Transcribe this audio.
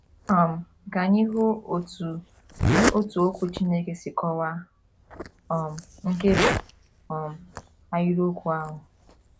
um Ka anyị hụ otú otú Okwu Chineke si kọwaa um nkebi um ahịrịokwu ahụ.